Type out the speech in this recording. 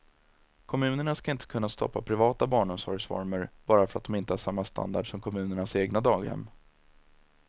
Kommunerna ska inte kunna stoppa privata barnomsorgsformer bara för att de inte har samma standard som kommunens egna daghem.